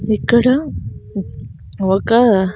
ఇక్కడ ఒక--